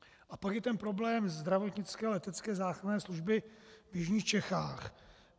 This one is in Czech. A pak je ten problém zdravotnické letecké záchranné služby v jižních Čechách.